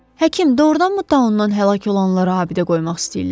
Həkim, doğurdanmı taunnan həlak olanlara abidə qoymaq istəyirlər?